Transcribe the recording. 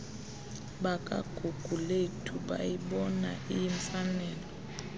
bakagugulethu bayibona iyimfanelo